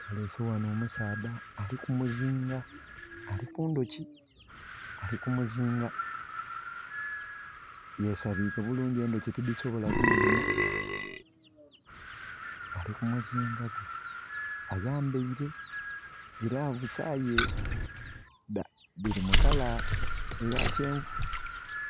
Baleese ghano omusaadha ali kumuzinga, ali ku ndhoki, ali kumuzinga. Yesabike bulungi endhoki tidhisobola kumuluma, ali kumuzinga. Ayambaile gilavusi aye dhiri mu kala eya kyenvu.